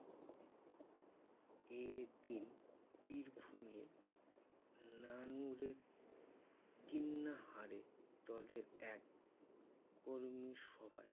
এদিন বীরভূমে নানুরে কিন্নাহারে দলের এক কর্মীসভায়